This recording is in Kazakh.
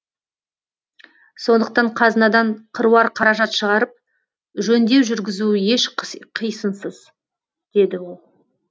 сондықтан қазынадан қыруар қаражат шығарып жөндеу жүргізу еш қисынсыз деді ол